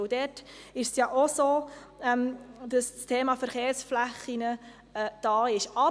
Dort ist das Thema der Verkehrsflächen enthalten.